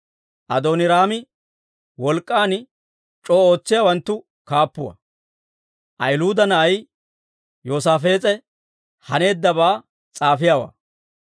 Adooniraami wolk'k'an c'oo ootsiyaawanttu kaappuwaa; Ahiluuda na'ay Yoosaafees'e haneeddabaa s'aafiyaawaa.